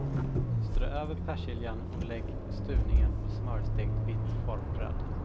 Strö över persiljan och lägg stuvningen på smörstekt vitt formbröd.